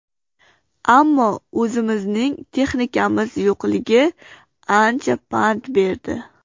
Ammo o‘zimizning texnikamiz yo‘qligi ancha pand berdi”.